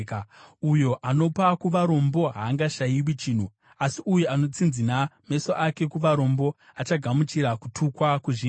Uyo anopa kuvarombo haangashayiwi chinhu, asi uyo anotsinzina meso ake kuvarombo achagamuchira kutukwa kuzhinji.